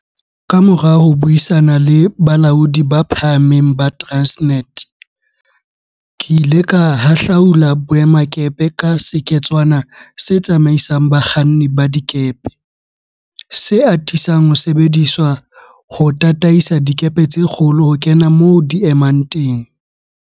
Kamora ho buisana le balaodi ba phahameng ba Transnet, ke ile ka hahlaula boemakepe ka seketswana se tsamaisang bakganni ba dikepe, se atisang ho sebediswa ho tataisa dikepe tse kgolo ho kena moo di emang teng.